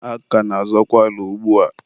a ka na-azọkwa ala ugbua.